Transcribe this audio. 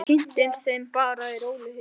Ég kynnist þeim bara í rólegheitum.